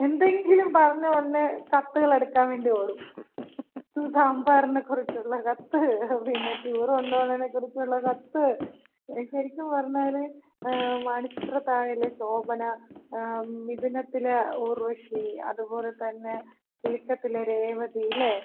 എന്തെങ്കിലും പറഞ്ഞ് ഒടനെ കത്തുകളെടുക്കാവേണ്ടി ഓടും. സാമ്പാറിനെ കുറിച്ചൊള്ള കത്ത്. പിന്ന ടൂറ് കൊണ്ട് പോണേനകുറിച്ചൊള്ള കത്ത്. ശരിക്ക്‌ പറഞ്ഞാല് മണിച്ചിത്രത്താഴിലെ ശോഭന, മിഥുനത്തിലെ ഉർവശി അത് പോലെതന്ന കിലുക്കത്തിലെ രേവതി. ഇല്ലെ?